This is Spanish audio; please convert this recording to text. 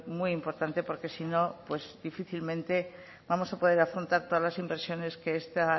muy importante porque si no pues difícilmente vamos a poder afrontar todas las inversiones que esta